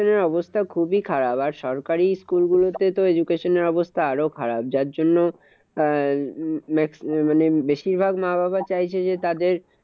অবস্থা খুবই খারাপ। আর সরকারি school গুলোতে তো education এর অবস্থা আরও খারাপ। যার জন্য আহ মানে বেশিরভাগ মা বাবা চাইছে যে তাদের